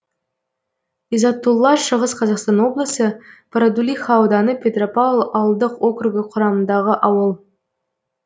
изатулла шығыс қазақстан облысы бородулиха ауданы петропавл ауылдық округі құрамындағы ауыл